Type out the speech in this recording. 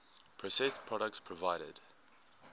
processed products provided